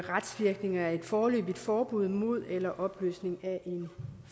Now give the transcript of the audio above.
retsvirkninger af et foreløbigt forbud mod eller en opløsning af en